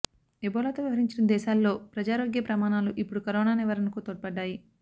ఎబోలాతో వ్యవహరించిన దేశాల్లో ప్రజారోగ్య ప్రమాణాలు ఇప్పుడు కరోనా నివారణకు తోడ్పడ్డాయి